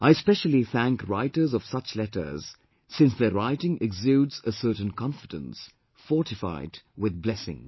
I specially thank writers of such letters, since their writing exudes a certain confidence, fortified with blessings